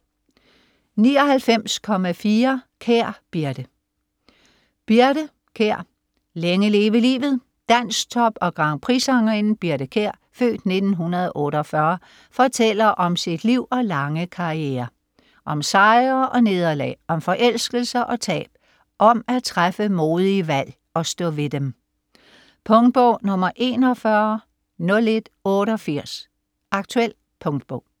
99.4 Kjær, Birthe Birthe, Kjær: Længe leve livet Dansktop- og grandprixsangerinden Birthe Kjær (f. 1948) fortæller om sit liv og lange karriere - om sejre og nederlag, om forelskelser og tab, om at træffe modige valg - og stå ved dem. Punktbog 410188 Aktuel punktbog